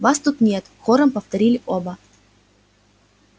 вас тут нет хором повторили оба